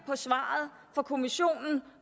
svaret fra kommissionen